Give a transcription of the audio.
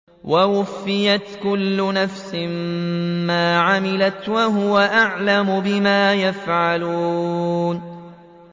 وَوُفِّيَتْ كُلُّ نَفْسٍ مَّا عَمِلَتْ وَهُوَ أَعْلَمُ بِمَا يَفْعَلُونَ